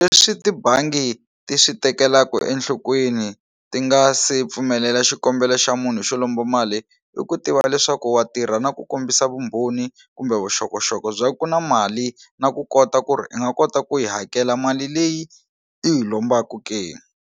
Leswi tibangi ti swi tekelaku enhlokweni ti nga se pfumelela xikombelo xa munhu xo lomba mali i ku tiva leswaku wa tirha na ku kombisa vumbhoni kumbe vuxokoxoko bya ku ku na mali na ku kota ku ri i nga kota ku yi hakela mali leyi i hi lombaku ke.